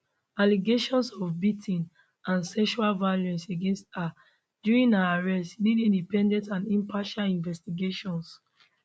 allegations of beating and sexual violence against her during her arrest nid independent and impartial investigations